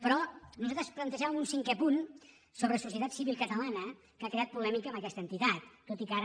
però nosaltres plantejàvem un cinquè punt sobre societat civil catalana que ha creat polèmica amb aquesta entitat tot i que ara